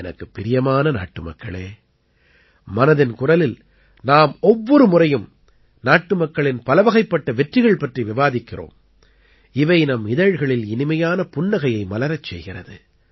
எனக்குப் பிரியமான நாட்டுமக்களே மனதின் குரலில் நாம் ஒவ்வொரு முறையும் நாட்டுமக்களின் பலவகைப்பட்ட வெற்றிகள் பற்றி விவாதிக்கிறோம் இவை நம் இதழ்களில் இனிமையான புன்னகையை மலரச் செய்கிறது